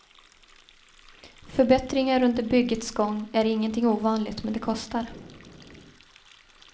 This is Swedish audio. Förbättringar under byggets gång är ingenting ovanligt, men det kostar.